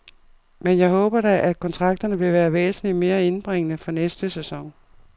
Men jeg håber da, at kontrakterne vil være væsentligt mere indbringende fra næste sæson.